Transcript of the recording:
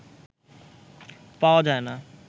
পাওয়া যায় না